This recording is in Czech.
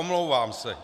Omlouvám se.